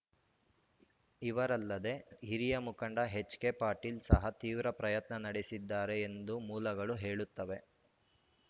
ಇವರಲ್ಲದೆ ಹಿರಿಯ ಮುಖಂಡ ಎಚ್‌ಕೆ ಪಾಟೀಲ್‌ ಸಹ ತೀವ್ರ ಪ್ರಯತ್ನ ನಡೆಸಿದ್ದಾರೆ ಎಂದು ಮೂಲಗಳು ಹೇಳುತ್ತವೆ